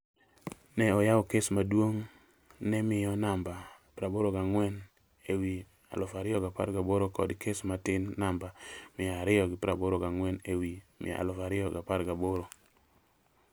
ne oyawo kes maduong' ne miyo namba 84/2018 kod kes matin namba 248/2018